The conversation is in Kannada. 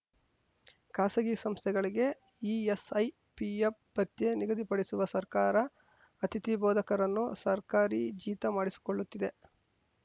ಖಾಸಗಿ ಸಂಸ್ಥೆಗಳಿಗೆ ಇಎಸ್‌ಐ ಪಿಎಫ್‌ ಭತ್ಯೆ ನಿಗದಿಪಡಿಸುವ ಸರ್ಕಾರ ಅತಿಥಿ ಬೋಧಕರನ್ನು ಸರ್ಕಾರಿ ಜೀತ ಮಾಡಿಸಿಕೊಳ್ಳುತ್ತಿದೆ